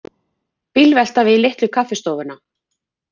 Bílvelta við Litlu kaffistofuna